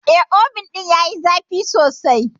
Eh, Obin ɗin yayi zafi sosai.